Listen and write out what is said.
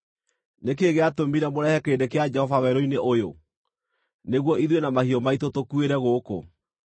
Nĩ kĩĩ gĩatũmire mũrehe kĩrĩndĩ kĩa Jehova werũ-inĩ ũyũ, nĩguo ithuĩ na mahiũ maitũ tũkuĩre gũkũ?